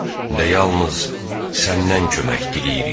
Və yalnız Səndən kömək diləyirik.